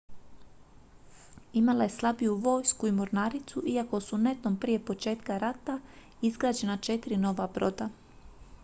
imala je slabiju vojsku i mornaricu iako su netom prije početka rata izgrađena četiri nova broda